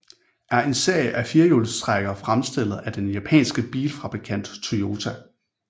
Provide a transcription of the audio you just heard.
er en serie af firehjulstrækkere fremstillet af den japanske bilfabrikant Toyota